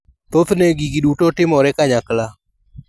Thothne gigi duto timore kanyakla.